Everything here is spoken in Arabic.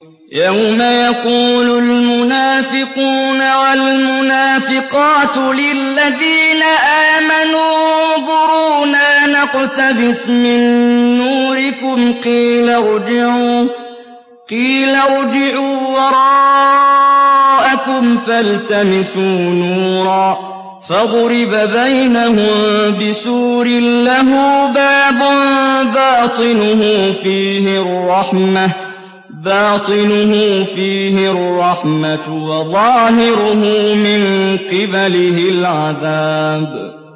يَوْمَ يَقُولُ الْمُنَافِقُونَ وَالْمُنَافِقَاتُ لِلَّذِينَ آمَنُوا انظُرُونَا نَقْتَبِسْ مِن نُّورِكُمْ قِيلَ ارْجِعُوا وَرَاءَكُمْ فَالْتَمِسُوا نُورًا فَضُرِبَ بَيْنَهُم بِسُورٍ لَّهُ بَابٌ بَاطِنُهُ فِيهِ الرَّحْمَةُ وَظَاهِرُهُ مِن قِبَلِهِ الْعَذَابُ